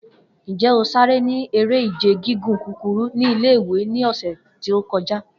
Njẹ o sare ni ere-ije gigun kukuru ni ile-iwe ni ọsẹ to kọja?